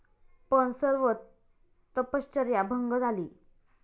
पण सर्व तपश्चर्या भंग झाली.